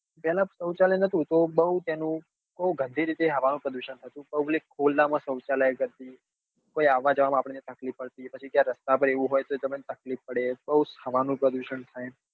પેલા સૌચાલય નતું તો બઉ એનું બઉ ગંદી રીતે હવા નું પ્રદુષણ થતું public ખુલ્લા માં સૌચાલય કરતી કોઈ આવવા જવા માં આપણને તકલીફ પડતી પછી ક્યાય રસ્તા માં એવું હોય તો તમને તકલીફ પડે બઉ જ હવા નું પ્રદુષણ થાય